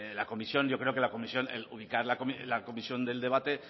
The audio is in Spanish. la comisión yo creo que la comisión el ubicar la comisión del debate